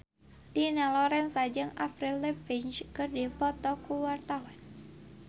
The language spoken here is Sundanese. Dina Lorenza jeung Avril Lavigne keur dipoto ku wartawan